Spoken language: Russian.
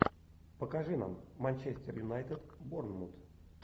покажи нам манчестер юнайтед борнмут